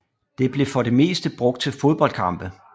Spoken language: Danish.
Det blev for det meste brugt til fodboldkampe